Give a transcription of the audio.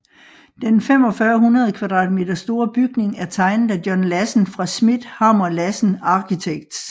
Den 4500m² store bygning er tegnet af John Lassen fra schmidt hammer lassen architects